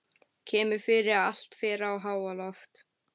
Kemur fyrir að allt fer í háaloft.